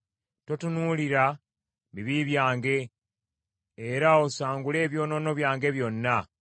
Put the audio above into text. Totunuulira bibi byange, era osangule ebyonoono byange byonna.